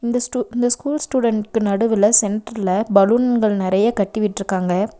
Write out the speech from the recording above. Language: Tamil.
இந்த ஸ்டு இந்த ஸ்கூல் ஸ்டுடென்ட்கு நடுவுலெ சென்டர்லெ பலூன்கள் நெறைய கட்டி விட்ருக்காங்க.